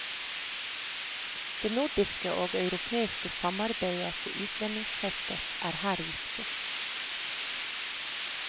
Det nordiske og europeiske samarbeidet på utlendingsfeltet er her viktig.